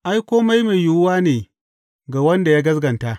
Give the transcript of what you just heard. Ai, kome mai yiwuwa ne ga wanda ya gaskata.